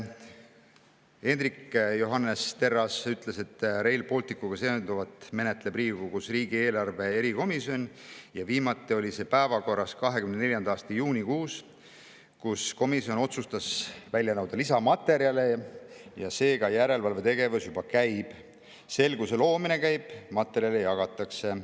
Hendrik Johannes Terras ütles, et Rail Balticuga seonduvat menetleb Riigikogus riigieelarve erikomisjon ja viimati oli see päevakorras 2024. aasta juunikuus, kui komisjon otsustas välja nõuda lisamaterjale, seega järelevalvetegevus juba käib, selguse loomine käib, materjale jagatakse.